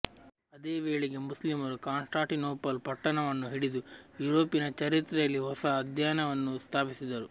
ಅದೇ ವೇಳೆಗೆ ಮುಸ್ಲಿಮರು ಕಾನ್ಸ್ಟ್ಯಾಂಟಿನೋಪಲ್ ಪಟ್ಟಣವನ್ನು ಹಿಡಿದು ಯುರೋಪಿನ ಚರಿತ್ರೆಯಲ್ಲಿ ಹೊಸ ಅಧ್ಯಾಯವನ್ನು ಸ್ಥಾಪಿಸಿದರು